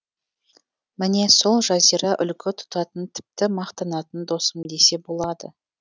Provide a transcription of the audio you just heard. міне сол жазира үлгі тұтатын тіпті мақтанатын досым десе болады